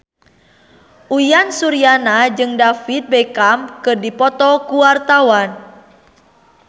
Uyan Suryana jeung David Beckham keur dipoto ku wartawan